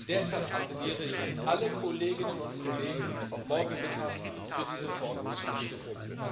Deshalb appelliere ich an alle Kolleginnen und Kollegen, morgen Mittag für diese Verordnung zu stimmen.